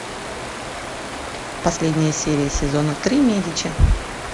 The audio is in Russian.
последняя серия сезона три медичи